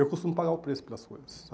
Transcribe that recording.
Eu costumo pagar o preço pelas coisas, sabe?